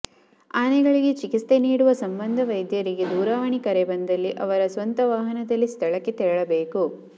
ಆನೆಗಳಿಗೆ ಚಿಕಿತ್ಸೆ ನೀಡುವ ಸಂಬಂಧ ವೈದ್ಯರಿಗೆ ದೂರವಾಣಿ ಕರೆ ಬಂದಲ್ಲಿ ಅವರ ಸ್ವಂತ ವಾಹನದಲ್ಲಿ ಸ್ಥಳಕ್ಕೆ ತೆರಳಬೇಕು